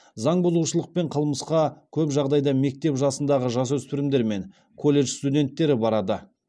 заңбұзушылық пен қылмысқа көп жағдайда мектеп жасындағы жасөспірімдер мен колледж студенттері барады